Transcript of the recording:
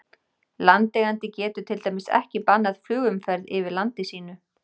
Landeigandi getur til dæmis ekki bannað flugumferð yfir landi sínu.